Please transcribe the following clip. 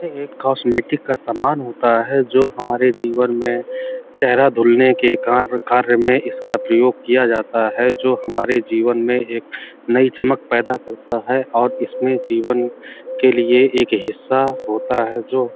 ये एक कॉस्मेटिक का सामान होता है जो हमारे जीवन में चेहरा धुलने के कार्य में इसका प्रयोग किया जाता है जो हमारे जीवन में एक नई चमक पैदा करता है और इसमें जीवन के लिए एक हिस्सा होता है जो --